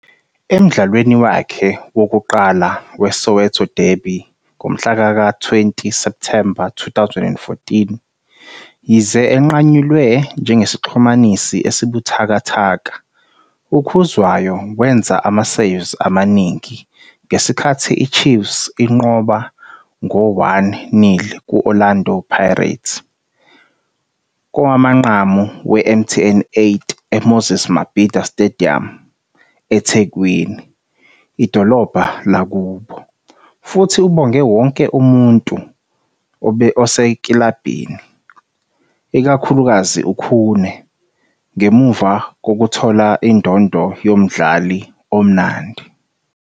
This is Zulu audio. "Emdlalweni wakhe wokuqala weSoweto derby ngomhla ka-20 Septhemba 2014, yize enqanyulwe njengesixhumanisi "esibuthakathaka", uKhuzwayo wenza ama-saves amaningi ngesikhathi iChiefs inqoba ngo-1-0 ku- Orlando Pirates kowamanqamu weMTN 8 eMoses Mabhida Stadium, eThekwini, idolobha lakubo, futhi ubonge wonke umuntu osekilabhini, ikakhulukazi uKhune, ngemuva kokuthola indondo yoMdlali oMnandi.